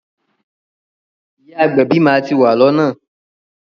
Ìyá agbẹ̀bí máa ti wà lọ́nà.